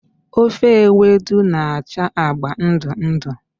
Ofe Ewedu na-acha agba ndụ ndụ.